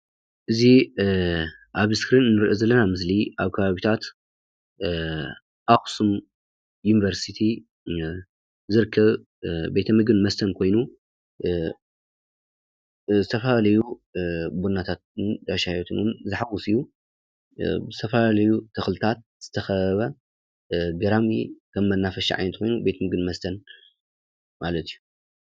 እዚ አብ ምስሊ ንሪኦ ዘለና አክሱም ዩኒቨርስቲ ዝርከብ ቤት ምግብ ን መስተን ኮይኑ ዝተፈላለዩ ቡናን ሻሂ ቤትን ዝሓቁፍ እዪ ብዝተፈላለዪ ተኽልታት ዝተሸፈነ እዪ